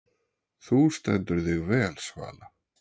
Þú stendur þig vel, Svala!